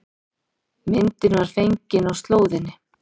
Myndin var fengin á slóðinni